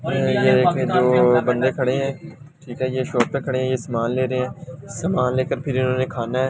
अ अ ये एक दो बंदे खड़े है ठीक है ये शॉप पे खड़े है ये सामान ले रहे है सामान लेकर फिर इन्होंने खाना है --